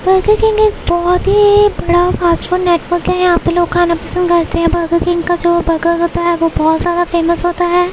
Burger King एक बहुत ही बड़ा फास्टफूड नेटवर्क है यहाँ पर लोग खाना पसंद करते है बर्गर किंग का जो बर्गर होता है वो बहुत ज्‍यादा फेमस होता है।